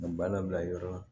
Nin banna bila yɔrɔ